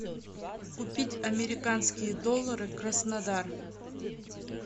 купить американские доллары краснодар